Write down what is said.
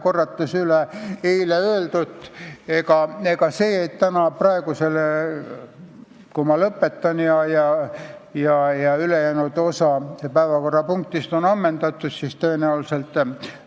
Korrates üle eile öeldut: kui ma lõpetan ja ülejäänud osa päevakorrapunktist on ammendatud, siis tõenäoliselt